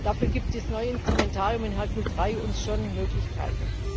Dafür gibt das neue Instrumentarium in Hercule III uns schon Möglichkeiten.